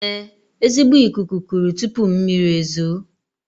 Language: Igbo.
Ee, ezigbo ikuku kuru tuupu mmiri ezuoo